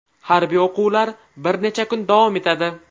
Harbiy o‘quvlar bir necha kun davom etadi.